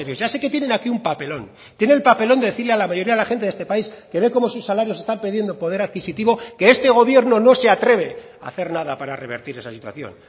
ya sé que tienen aquí un papelón tiene el papelón de decirle a la mayoría de la gente de este país que ven como sus salarios están perdiendo poder adquisitivo que este gobierno no se atreve a hacer nada para revertir esta situación